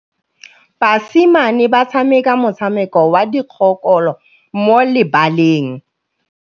Basimane ba tshameka motshameko wa modikologô mo lebaleng.